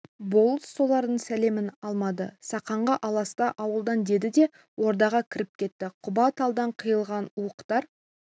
болыс солардың сәлемін алмады сақанға аласта ауылдан деді де ордаға кіріп кетті құба талдан қиылған уықтар